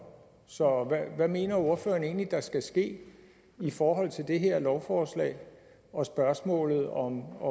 så hvad mener ordføreren egentlig der skal ske i forhold til det her lovforslag og spørgsmålet om